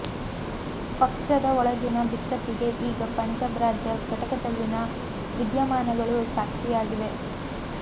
ಪಕ್ಷದ ಒಳಗಿನ ಬಿಕ್ಕಟ್ಟಿಗೆ ಈಗ ಪಂಜಾಬ್ ರಾಜ್ಯ ಘಟಕದಲ್ಲಿನ ವಿದ್ಯಮಾನಗಳೂ ಸಾಕ್ಷಿಯಾಗಿವೆ